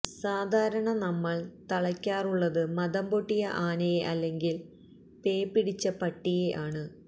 സാധാരണ നമ്മള് തളയ്ക്കാറുള്ളത് മദംപൊട്ടിയ ആനയെ അല്ലെങ്കില് പേപിടിച്ച പട്ടിയെ ആണ്